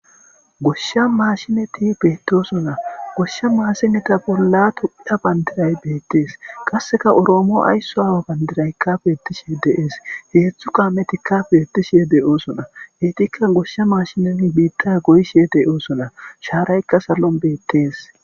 goshsha maashineti beettosona goshsha maashineta bolla tophphiya bandiray beettees qasseka oroomo aysso aawa bandiraykkafe ettishe de'ees hezhzhu kaametikka beettishe de'oosona heytikka goshsha maashinen biitta goyshe de'osona shaaraykka sallon beettees